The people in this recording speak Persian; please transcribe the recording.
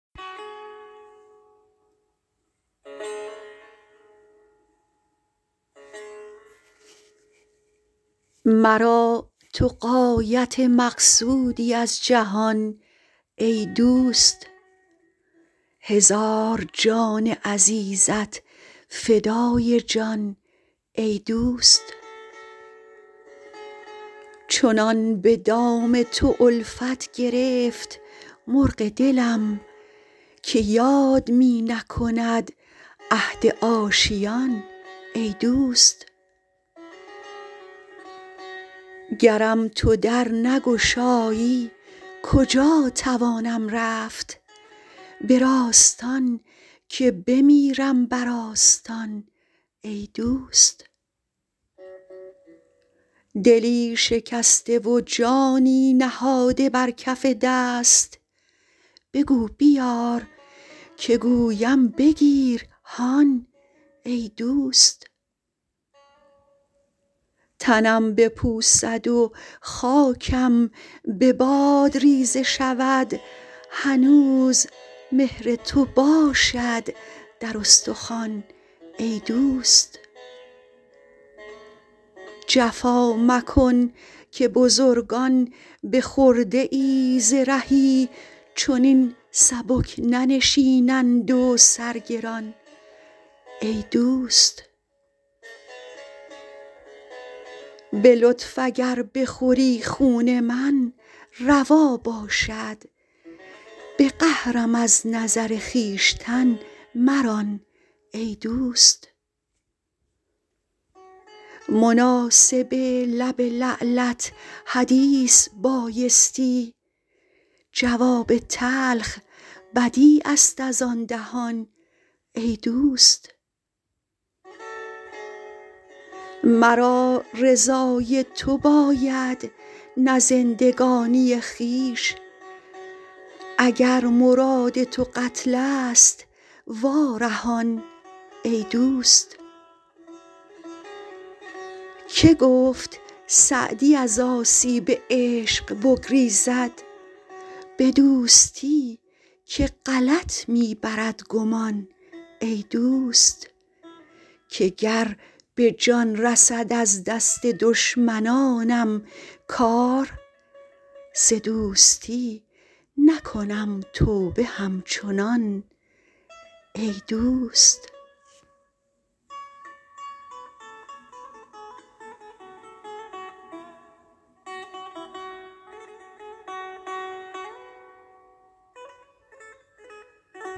مرا تو غایت مقصودی از جهان ای دوست هزار جان عزیزت فدای جان ای دوست چنان به دام تو الفت گرفت مرغ دلم که یاد می نکند عهد آشیان ای دوست گرم تو در نگشایی کجا توانم رفت به راستان که بمیرم بر آستان ای دوست دلی شکسته و جانی نهاده بر کف دست بگو بیار که گویم بگیر هان ای دوست تنم بپوسد و خاکم به باد ریزه شود هنوز مهر تو باشد در استخوان ای دوست جفا مکن که بزرگان به خرده ای ز رهی چنین سبک ننشینند و سر گران ای دوست به لطف اگر بخوری خون من روا باشد به قهرم از نظر خویشتن مران ای دوست مناسب لب لعلت حدیث بایستی جواب تلخ بدیع است از آن دهان ای دوست مرا رضای تو باید نه زندگانی خویش اگر مراد تو قتل ست وا رهان ای دوست که گفت سعدی از آسیب عشق بگریزد به دوستی که غلط می برد گمان ای دوست که گر به جان رسد از دست دشمنانم کار ز دوستی نکنم توبه همچنان ای دوست